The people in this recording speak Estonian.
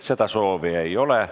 Seda soovi ei ole.